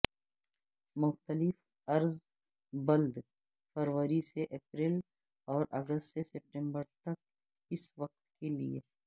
مختلف عرض بلد فروری سے اپریل اور اگست سے ستمبر تک اس وقت کے لیے